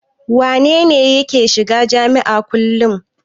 Wane ne yake shiga jami'a kullum?